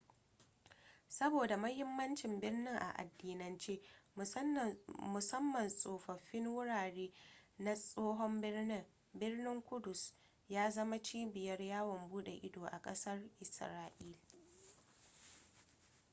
saboda mahimmancin birnin a addinance musamman tsofaffin wurare na tsohon birnin birnin kudus ya zama cibiyar yawon bude ido a kasar israila